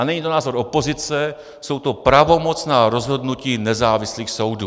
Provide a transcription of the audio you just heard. A není to názor opozice, jsou to pravomocná rozhodnutí nezávislých soudů.